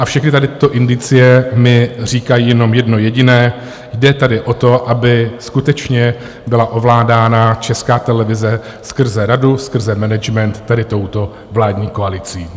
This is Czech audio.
A všechny tady tyto indicie mi říkají jenom jedno jediné: jde tady o to, aby skutečně byla ovládána Česká televize skrze radu, skrze management, tady touto vládní koalicí.